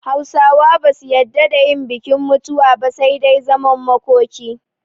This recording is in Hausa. Hausawa ba su yadda da yin bikin mutuwa ba, sai dai zaman makoki